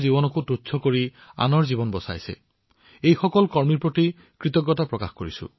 বন্ধুসকল প্ৰেম বাৰ্মাজী আৰু তেওঁৰ দৰে হাজাৰ হাজাৰ লোকে আজি তেওঁলোকৰ জীৱন বিপদত পেলাই জনসাধাৰণৰ সেৱা কৰি আছে